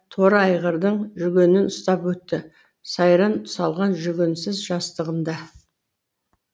торы айғырдың жүгенін ұстап өтті сайран салған жүгенсіз жастығында